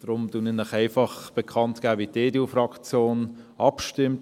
Daher gebe ich Ihnen einfach bekannt, wie die EDU-Fraktion abstimmt: